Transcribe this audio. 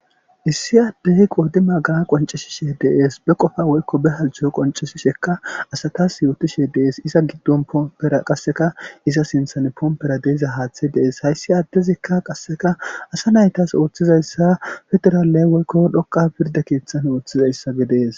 issi aaddei qoodi magana qoncishishe dees be qofa woykko be halcho qonceshishekka asatas yootishe dees iza giddon poompera qasseka iza sinthan poompera deeza haaththe dees hayssi aaddezikka qasseka asa naytas ooththizayssa federaalley woykko dhoqa pirda keeththan ooththizayssa gedees